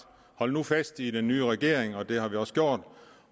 hold nu fast i den nye regering det har vi også gjort